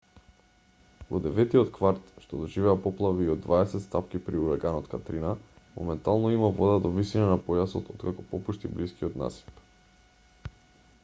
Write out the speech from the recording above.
во деветтиот кварт што доживеа поплави и од 20 стапки при ураганот катрина моментално има вода до висина на појасот откако попушти блискиот насип